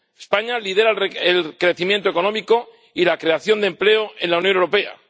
España lidera el crecimiento económico y la creación de empleo en la Unión Europea.